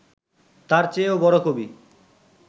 তার চেয়েও বড় কবি